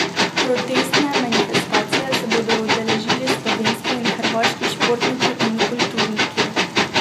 Protestne manifestacije se bodo udeležili slovenski in hrvaški športniki in kulturniki.